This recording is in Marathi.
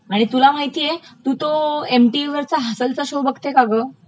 आणि तुला माहितेय तू तो एम टीव्हीरचा हसनंचा शो बघते का ग?